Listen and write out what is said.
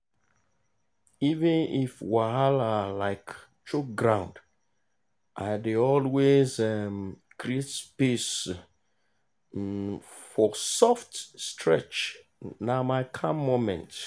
even if wahala um choke ground i dey always um create space um for soft stretch na my calm moment.